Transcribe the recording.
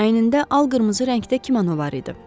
Əynində al qırmızı rəngdə kimono var idi.